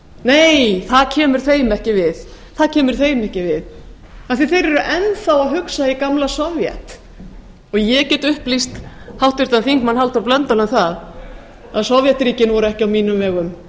nei það kemur þeim ekki við það kemur þeim ekki við því þeir eru enn að hugsa í gamla sovét ég get upplýst háttvirtur þingmaður halldór blöndal um það að sovétríkin voru ekki á mínum vegum